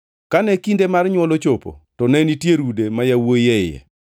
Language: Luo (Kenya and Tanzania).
Kane kinde mar nywol ochopo, to ne nitie rude ma yawuowi e iye.